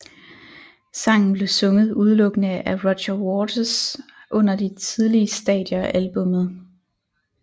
Sangen blev sunget udelukkende af Roger Waters under de tidlige stadier af albummet